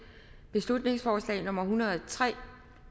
beslutningsforslag nummer b en hundrede og tre